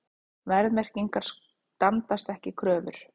Verðmerkingar standast ekki kröfur